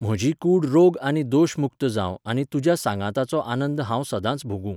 म्हजी कूड रोग आनी दोश मुक्त जावं आनी तुज्या सांगाताचो आनंद हांव सदांच भोगूं!